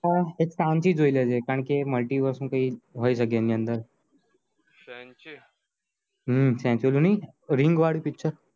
પણ એક Sanchi જોઈ લેજે કારણકે multiverse નું કઈ હોય સકે એની અંદર હમ Sanchi ring વાડું multiverse ની